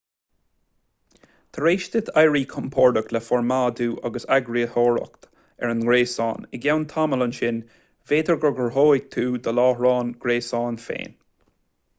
tar éis duit éirí compordach le formáidiú agus eagarthóireacht ar an ngréasán i gceann tamaill ansin b'fhéidir go gcruthóidh tú do láithreán gréasáin féin